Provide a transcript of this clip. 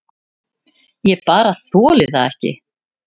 Ég bara þoli það ekki.